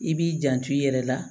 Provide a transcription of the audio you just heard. I b'i janto i yɛrɛ la